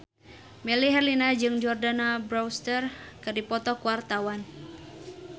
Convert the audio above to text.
Melly Herlina jeung Jordana Brewster keur dipoto ku wartawan